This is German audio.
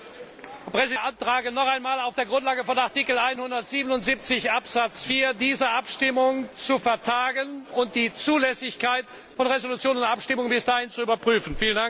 Ich beantrage noch einmal auf der Grundlage von Artikel 177 Absatz 4, diese Abstimmung zu vertagen und die Zulässigkeit von Entschließung und Abstimmung bis dahin zu überprüfen.